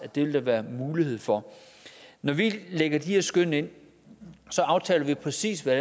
der vil være mulighed for når vi lægger de her skøn ind aftaler vi præcis hvad